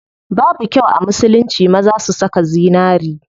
Babu kyau a musulunci maza su saka zinari.